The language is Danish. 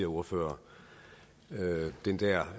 ordfører